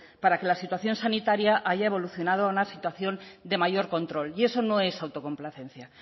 para que la situación sanitaria haya evolucionado a una situación de mayor control y eso no es autocomplacencia